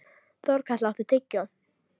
Þorkatla, áttu tyggjó?